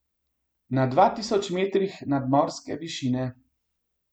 Na dva tisoč metrih nadmorske višine.